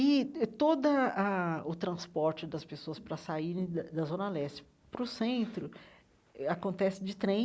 E toda a o transporte das pessoas para saírem da da Zona Leste para o centro acontece de trem,